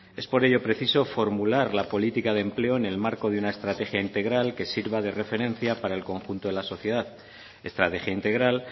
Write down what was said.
es por ello preciso formular la política de empleo en el marco de una estrategia integral que sirva de referencia para el conjunto de la sociedad estrategia integral